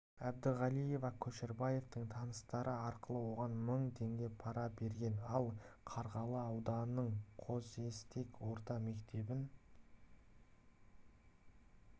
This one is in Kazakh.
әбдіғалиева көшербаевтың таныстары арқылы оған мың теңге пара берген ал қарғалы ауданының қосестек орта мектебін